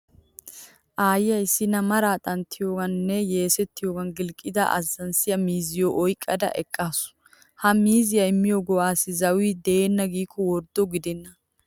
Aaya issinna maraa xanttiyoogani nne yeesettiyogan gilqqida azzanssiya miizziyo oyqqada eqqaasu. Ha miizziya immiyo go'aassi zawi deenna giikko worddo gidenna.